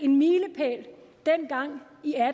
en milepæl dengang